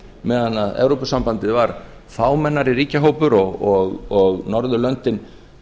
meðan að evrópusambandið var fámennari ríkjahópur og norðurlöndin